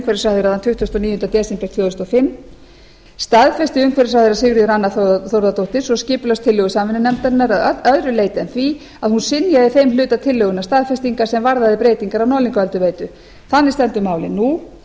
þann tuttugasta og níunda desember tvö þúsund og fimm staðfesti umhverfisráðherra sigríður anna þórðardóttir svo skipulagstillögu samvinnunefndarinnar að öðru leyti en því að hún synjaði þeim hluta tillögunnar staðfestingar sem varðaði breytingar á norðlingaölduveitu þannig stendur málið nú